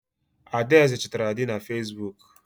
Adaeze chọtara di na Facebook.